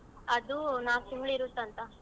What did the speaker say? ಅದೂ ನಾಲ್ಕ್ ತಿಂಗ್ಳಿರತ್ತಂತ?